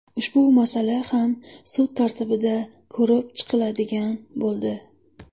Ushbu masala ham sud tartibida ko‘rib chiqiladigan bo‘ldi.